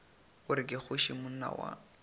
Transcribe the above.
gore ke kgoši monna wa